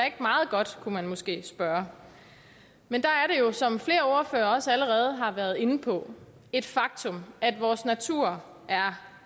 ikke meget godt kunne man måske spørge men der er det jo som flere ordførere også allerede har været inde på et faktum at vores natur er